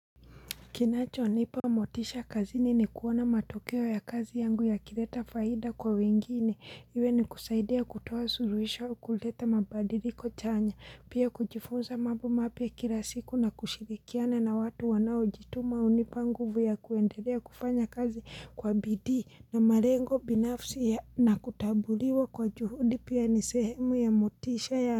Kinacho nipa motisha kazini ni kuona matokeo ya kazi yangu yakileta faida kwa wengine, iwe ni kusaidia kutoa suluhisho au kuleta mabadiliko chanya. Pia kujifunza mambo mapya kila siku na kushirikiana na watu wanaojituma hunipa nguvu ya kuendelea kufanya kazi kwa bidii na malengo binafsi na kutambuliwa kwa juhudi pia nisehemu ya motisha ya.